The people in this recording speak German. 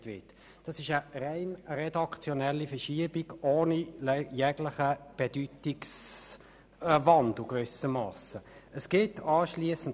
Es handelt sich dabei um eine rein redaktionelle Verschiebung, ohne jeglichen Bedeutungswandel.